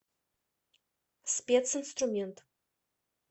специнструмент